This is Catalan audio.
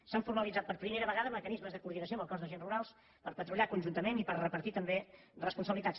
s’han formalitzat per primera vegada mecanismes de coordinació amb el cos d’agents rurals per patrullar conjuntament i per repartir també responsabilitats